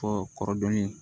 Fɔ kɔrɔ dɔnni